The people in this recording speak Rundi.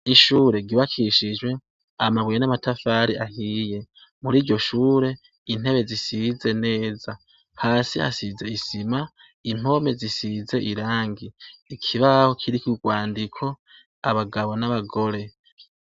Ishure ryubakishijwe amabuye n'amatafari ahiye, muriryo shure intebe zisize neza, hasi hasize isima ,impome zisize irangi ,ikibaho kiriko urwandiko abagabo n'abagore.